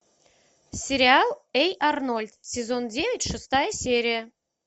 сериал эй арнольд сезон девять шестая серия